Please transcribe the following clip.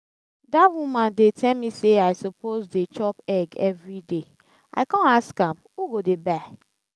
that woman dey tell me say i suppose dey chop egg everyday i come ask am who go dey buy?